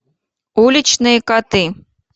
уличные коты